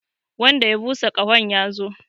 Wanda ya busa ƙahon ya zo!